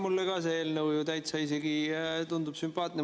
Mulle ka tundub see eelnõu isegi täitsa sümpaatne.